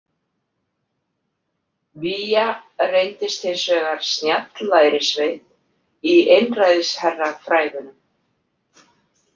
Biya reyndist hins vegar snjall lærisveinn í einræðisherrafræðunum.